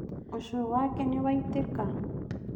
ũcũrũ wake nĩwaitĩka